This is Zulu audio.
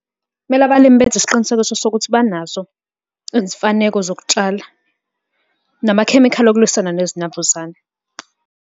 Kumele abalimi benze isiqinisekiso sokuthi banazo izimfaneko zokutshala namakhemikhali okulwisana nezinambuzane.